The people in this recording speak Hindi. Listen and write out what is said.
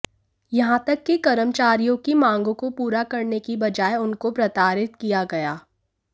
यहां तक कि कर्मचारियों की मांगों को पूरा करने की बजाए उनको प्रताडि़त किया गया